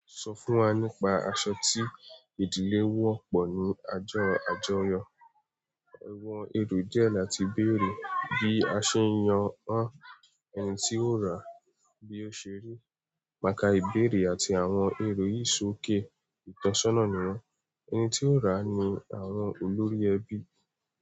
Sọ fún wa nípa aṣọ tí ìdílé wọ̀ pọ̀ ní ojó àjọyọ̀. Àwọn èrò díẹ̀ láti béèrè bí a ṣe n yàn ẹni tí ó rà bí ó ṣe rí. Mà kà ìbéèrè àti àwọn èrò yìí sókè, ìtọ́sọ́nà ni wọ́n. Ẹni tí ó rà ni àwọn olórí ẹbí.